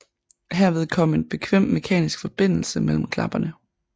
Herved kom en bekvem mekanisk forbindelser mellem klapperne